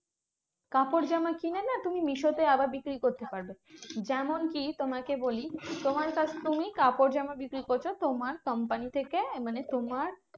কাপড়জামা কিনে না? তুমি মিশো তে আবার বিক্রি করতে পারবে। যেমন কি তোমাকে বলি তোমার কাছ তুমি কাপড়জামা বিক্রি করছো। তোমার company থেকে মানে তোমার